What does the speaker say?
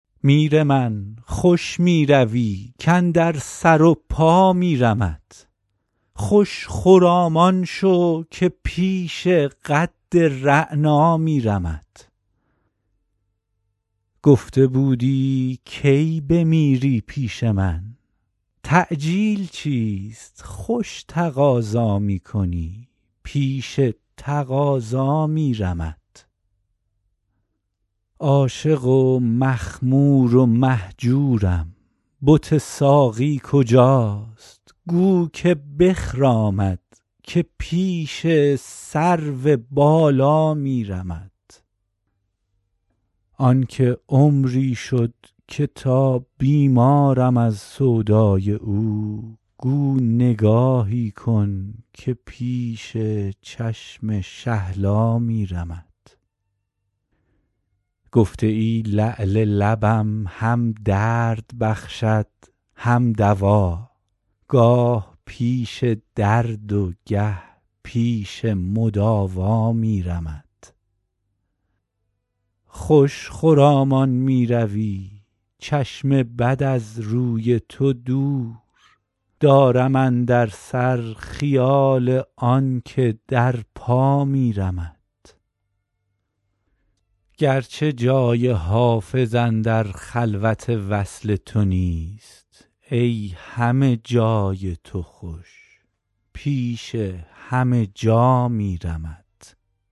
میر من خوش می روی کاندر سر و پا میرمت خوش خرامان شو که پیش قد رعنا میرمت گفته بودی کی بمیری پیش من تعجیل چیست خوش تقاضا می کنی پیش تقاضا میرمت عاشق و مخمور و مهجورم بت ساقی کجاست گو که بخرامد که پیش سرو بالا میرمت آن که عمری شد که تا بیمارم از سودای او گو نگاهی کن که پیش چشم شهلا میرمت گفته ای لعل لبم هم درد بخشد هم دوا گاه پیش درد و گه پیش مداوا میرمت خوش خرامان می روی چشم بد از روی تو دور دارم اندر سر خیال آن که در پا میرمت گرچه جای حافظ اندر خلوت وصل تو نیست ای همه جای تو خوش پیش همه جا میرمت